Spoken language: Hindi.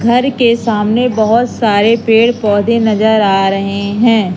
घर के सामने बहोत सारे पेड़ पौधे नजर आ रहे हैं।